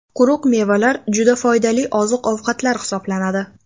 Quruq mevalar juda foydali oziq-ovqatlar hisoblanadi.